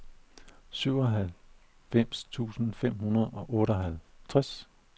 syvoghalvfems tusind fem hundrede og otteoghalvtreds